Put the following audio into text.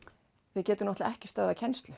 við getum ekki stöðvað kennslu